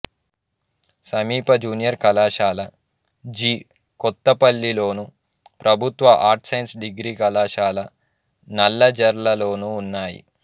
సమీప జూనియర్ కళాశాల జి కొత్తపల్లిలోను ప్రభుత్వ ఆర్ట్స్ సైన్స్ డిగ్రీ కళాశాల నల్లజర్లలోనూ ఉన్నాయి